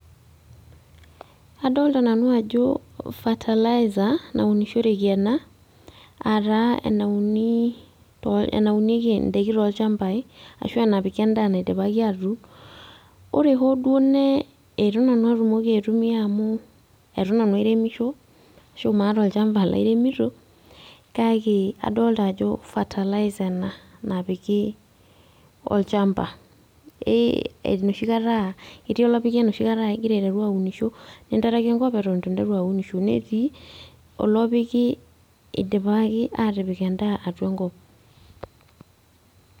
Adolta nanu ajo fertiliser naunishoreki ena, ataa enauni, enaunieki idaiki tolchambai, ashu enapiki endaa naidipaki atuun. Ore hoo duo nee itu nanu atumoki aitumia amu etu nanu aremisho, ashu maata olchamba laremito, kake adolta ajo fertiliser ena, napiki olchamba, enoshi kata, ketii olopiki enoshi kata ah igira aiteru aunisho, ninteraki enkop eton itu nteru aunisho. Netii olopiki idipaki atipik endaa atua enkop.